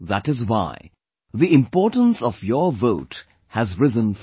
That is why, the importance of your vote has risen further